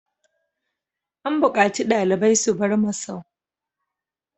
An bukaci ɗalibai su bar masau!